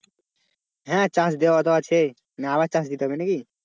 হ্যাঁ চাষ দেওয়া তো আছেই মানে আবার চাষ দিতে হবে নাকি?